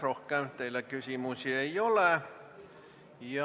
Rohkem teile küsimusi ei ole.